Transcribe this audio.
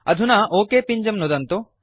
अधुना ओक पिञ्जं नुदन्तु